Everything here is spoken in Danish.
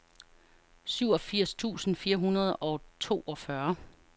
syvogfirs tusind fire hundrede og toogfyrre